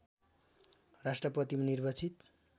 राष्ट्रपतिमा निर्वाचित